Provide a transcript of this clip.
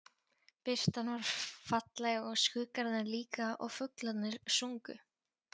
Birtan var falleg og skuggarnir líka og fuglarnir sungu.